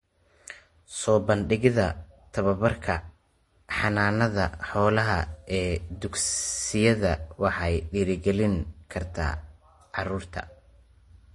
Soo bandhigida tababarka xanaanada xoolaha ee dugsiyada waxay dhiirigelin kartaa carruurta.